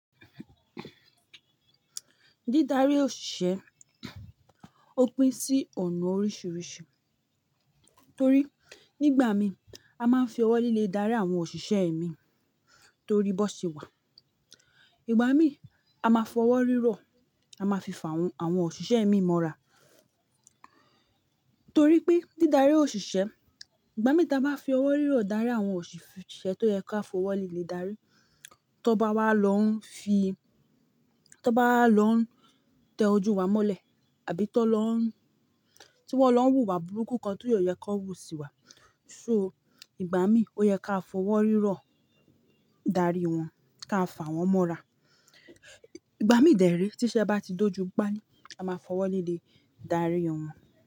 Dídarí òṣìṣẹ́ ó pín sí ọ̀nà oríṣiríṣi, torí nígbà mí a máa ń fi ọwọ́ líle darí àwọn òṣìṣẹ́ mi torí bó ṣe wà. Ìgbà mí a máa f'ọwọ́ rírọ̀, a máa fi fà àwọn òṣìṣẹ́ mii mọ́ra. Torí pé dídarí òṣìṣẹ́, ìgbà mí tí a bá fi ọwọ́ rírọ̀ darí àwọn òṣìṣẹ́ tó yẹ ka f'ọwọ́ líle darí, tan bá wá lọ ń fi-- tan bá wa lọ ń tẹ ojú wa mọ́lẹ̀, tàbí tan lọ un- tí wọ́n lọ ń wù wá burúkú kan ti o yẹ kan wù sí wa. So ìgbà mí ó yẹ ká f'ọwọ́ rírọ̀ darí wọn, ká fà wọ́n mọ́ra. Ìgbà mí dẹ̀re, tí iṣẹ́ bá ti dóju pali, a máa f'ọwọ́ líle darí wọn.